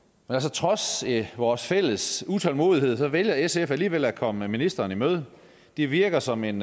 trods vores fælles utålmodighed vælger sf alligevel at komme ministeren i møde det virker som en